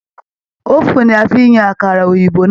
Òfún ní a fí yan àkàrà òyìnbó náà.